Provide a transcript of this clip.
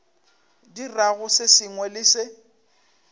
dirago se sengwe le se